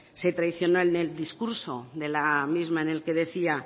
se traicionó en el discurso de la misma en la que decía